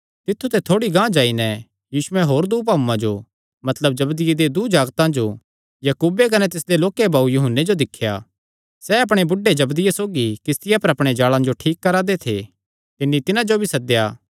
तित्थु ते थोड़ी गांह जाई नैं यीशुयैं होर दूँ भाऊआं जो मतलब जबदिये दे दूँ जागतां जो याकूबे कने तिसदे लोक्के भाऊये यूहन्ने जो दिख्या सैह़ अपणे बुढ़े जबदिये सौगी किस्तिया पर अपणे जाल़ां जो ठीक करा दे थे तिन्नी तिन्हां जो भी सद्देया